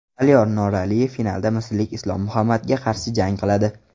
Aliyor Noraliyev finalda misrlik Islom Muhammadga qarshi jang qiladi.